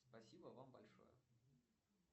спасибо вам большое